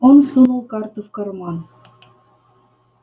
он сунул карту в карман